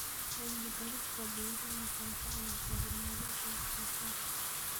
Cilmi-baarista beeruhu waxay caawisaa horumarinta wax-soo-saarka.